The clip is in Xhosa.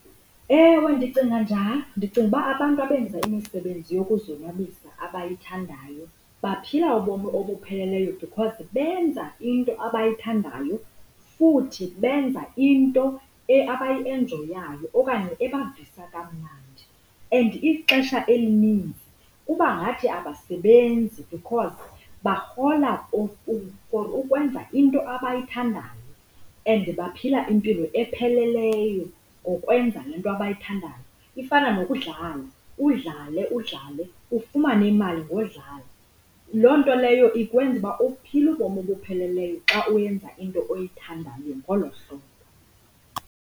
Ewe ndicinga njalo, ndicinga uba abantu abenza imisebenzi yokuzonwabisa abayithandayo baphila ubomi obupheleleyo because benza into abayithandayo futhi benza into abayienjoyayo okanye ebavisa kamnandi. And ixesha elininzi kubangathi abasebenzi because barhola ukwenza into abayithandayo and baphila impilo epheleleyo ngokwenza le nto abayithandayo. Ifana nokudlala, udlale, udlale ufumane imali ngodlala. Loo nto leyo ikwenza uphile ubomi obupheleleyo xa uyenza into oyithandayo ngolo hlobo.